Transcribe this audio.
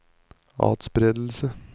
atspredelse